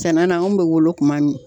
Sɛnɛ na an bɛ wolo kuma min.